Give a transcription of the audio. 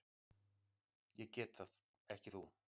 Ég get það, ekki þú.